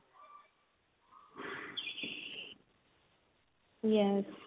yes